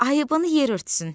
Ayıbını yer örtsün.